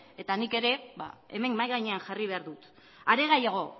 eta nik ere ba hemen mahai gainean jarri behar dut are gehiago